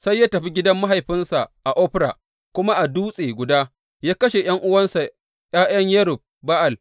Sai ya tafi gidan mahaifinsa a Ofra kuma a dutse guda ya kashe ’yan’uwansa, ’ya’yan Yerub Ba’al.